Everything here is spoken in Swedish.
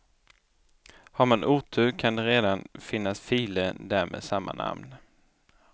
Har man otur kan det redan finnas filer där med samma namn.